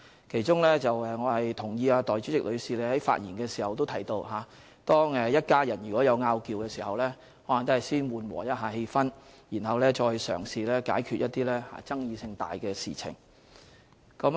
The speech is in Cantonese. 其中，我同意代理主席的發言提到，當一家人有"拗撬"時，應先緩和氣氛，然後再嘗試解決一些爭議性大的事情。